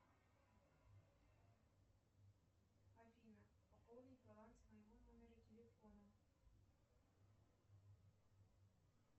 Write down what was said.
афина пополнить баланс моего номера телефона